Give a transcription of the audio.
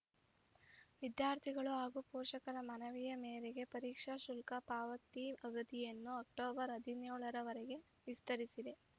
ವಿದ್ಯಾರ್ಥಿಗಳು ಹಾಗೂ ಪೋಷಕರ ಮನವಿ ಮೇರೆಗೆ ಪರೀಕ್ಷಾ ಶುಲ್ಕ ಪಾವತಿ ಅವಧಿಯನ್ನು ಅಕ್ಟೋಬರ್ ಹದಿನೇಳರ ವರೆಗೆ ವಿಸ್ತರಿಸಿದೆ